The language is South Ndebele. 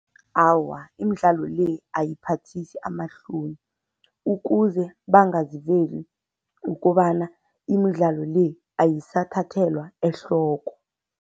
Awa, imidlalo le ayiphathisi amahloni. Ukuze bangazivezi kukobana imidlalo le ayisathathelwa ehloko.